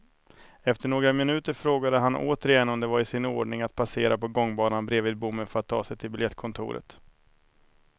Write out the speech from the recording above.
Efter några minuter frågade han återigen om det var i sin ordning att passera på gångbanan bredvid bommen för att ta sig till biljettkontoret.